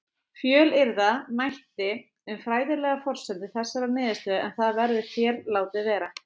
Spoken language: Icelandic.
Fjölyrða mætti um fræðilegar forsendur þessarar niðurstöðu en það verður hér látið vera.